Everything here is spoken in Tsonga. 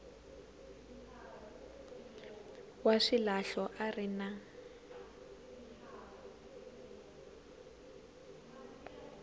wa swilahlo a ri na